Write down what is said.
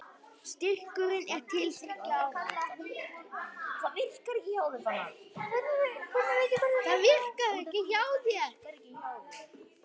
Styrkurinn er til þriggja ára